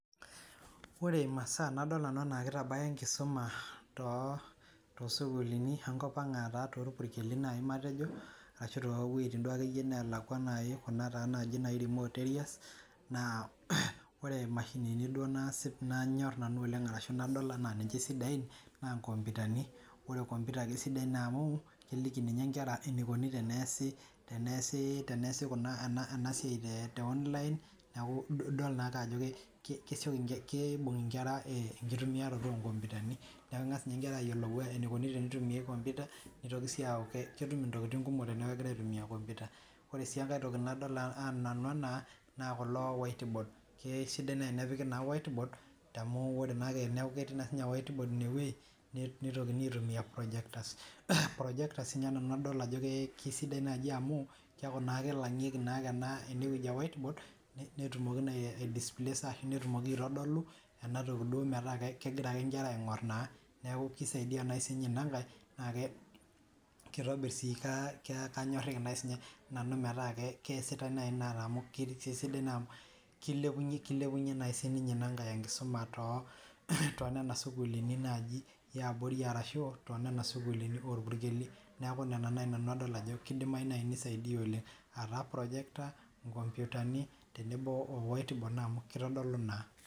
Kore masaaa nadol nanu ena keitabaya enkisuma too sukuulini enkopang aataa too ilpurkeli ake iye matejo arashu too wejitin duo ake iye naalakwa kuna taa naaji remote areas[c] naa ore emashinini duo naasip nanyor nanu oleng arashu nadol anaa esiain naa enkomputani, ore enkomputa kesidai naa amuu iliki ninye inkare eneikoni teneasi enma siai te online naaku idol naake ajo kesioki ninche, keibung' inkera enkitumiaroto enkompitani naaku engas ninye inkera ayolo eneikoni teneitumiyari enkompita, neitoki sii aaku ketum ntokitin nkumok teneaku kegira aitumiya nkompyuta, ore sii enkae toki nadol nanu enaa naa kulo whiteboard, kesidai enepiki naa [cs[whiteboard amuu ore naake eneaku ketii naa whiteboard ineweji neitokini aitumiya projectors. Projectors ninye nanu adol nanu ajo kesidai naaji amuu keaku naa keilang'ieki ake anaa eneweji e whiteboard netumoki naa aidispaisa, netumoki aitodolun enatoki duo metaa kegira ake inkera aing'orr naa, naaku keisaidia sii ninye ana ng'ae, naa keitobirr sii kanyorr naa sinye nanu metaa keasita nai naa amu keilepunye sii ninye ana nkae nkisuma too nena sukuulini naaji eabiori arashu too nena sukuulini oo ilpurkeli, naaku nena nai adol nanu ajo keidim eneisaidia oleng aataa projector, nkomputani tenebo oo whiteboard na amu keitodolu naa.